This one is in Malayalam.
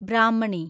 ബ്രാഹ്മണി